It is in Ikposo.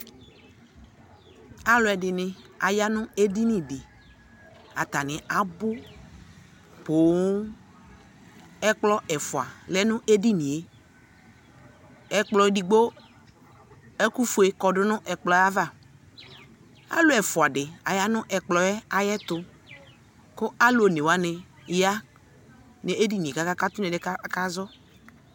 Alʋɛdɩnɩ aya nʋ edinidɩ atanɩ abʋ poo; ɛkplɔ ɛfʋa lɛ n'edinie : ɛkplɔ edigbo ɛkʋfue kɔdʋ n'ɛkplɔava, alʋ ɛfʋadɩ aya nʋ ɛkplɔ yɛ ayɛtʋ, kʋ alʋ onewanɩ ya n'edinie k'aka katʋ n'ɛdɩɛ ka akazɔ